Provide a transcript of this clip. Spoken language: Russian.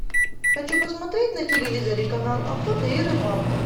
хочу посмотреть на телевизоре канал охота и рыбалка